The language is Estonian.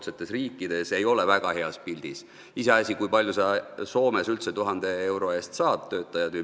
Iseasi, kui palju töötajaid ja kui mitmeks tunniks sa Soomes üldse 1000 euro eest saad.